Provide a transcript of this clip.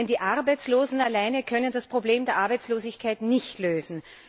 Denn die Arbeitslosen alleine können das Problem der Arbeitslosigkeit nicht lösen.